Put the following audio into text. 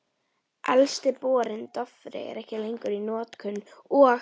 Elsti borinn, Dofri, er ekki lengur í notkun, og